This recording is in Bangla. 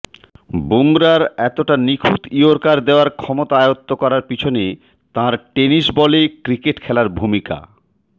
বুমরার এতটা নিখুঁত ইয়র্কার দেওয়ার ক্ষমতা আয়ত্ত করার পিছনে তাঁর টেনিস বলে ক্রিকেট খেলার ভূমিকা